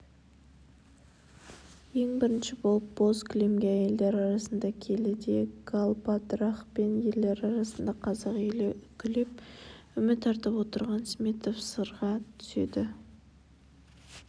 ең бірінші болып бөз кілемге әйелдер арасында келіде галбадрах пен ерлер арасында қазақ елі үкілеп үміт артып отырған сметов сынға түседі